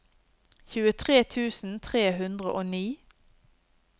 tjuetre tusen tre hundre og ni